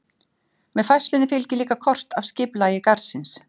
Með færslunni fylgir líka kort af skipulagi garðsins.